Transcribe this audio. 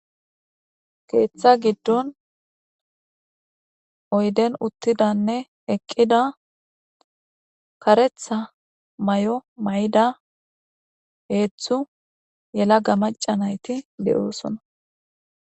Hayssa misileza bolla tani be'shin taasi beetizay aaze gizayssa giddikko woykko xeelishin hedzdzu maccati karetha mayo mayida.